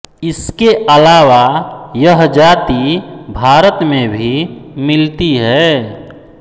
इसके अलावा यह जाति भारत में भी मिलती है